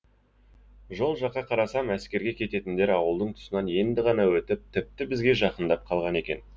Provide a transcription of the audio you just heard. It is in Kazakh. жол жаққа қарасам әскерге кететіндер ауылдың тұсынан енді ғана өтіп тіпті бізге жақындап қалған екен